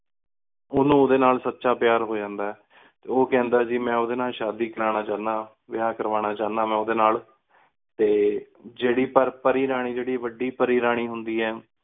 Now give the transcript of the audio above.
ਉਨੂ ਓਹਦੇ ਨਾਲ ਸੱਚਾ ਪਿਆਰ ਹੂ ਜਾਂਦਾ ਆ ਹੈ ਤੇ ਉਹ ਕਹਿੰਦਾ ਆ ਮੈ ਓਦੇ ਨਾਲ ਸਾਦਿ ਕਰਵਾਣਾ ਚਾਉਂਦਾ ਹਾਂ ਵਿਆਹ ਕਰਵਾਣਾ ਚਾਉਂਦਾ ਹਾਂ ਮ ਓਹਦੇ ਨਾਲ ਤੇ ਜੀਰੀ ਪਰ ਪਰੀ ਰਾਣੀ ਜੇੜੀ ਵੱਡੀ ਪਰੀ ਰਾਣੀ ਹੁੰਦੀ ਆਯ